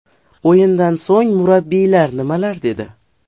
O‘yindan so‘ng murabbiylar nimalar dedi?